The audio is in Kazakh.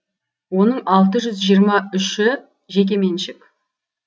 оның алты жүз жиырма үші жеке меншік